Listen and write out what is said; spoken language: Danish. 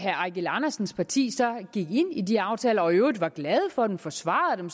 eigil andersens parti så gik ind i de aftaler og i øvrigt var glade for dem forsvarede dem